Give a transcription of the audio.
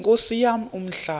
nkosi yam umhlaba